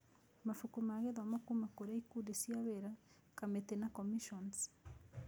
Mabuku ma gĩthomo kuuma kũrĩ ikundi cia wĩra, kamĩtĩ na commissions.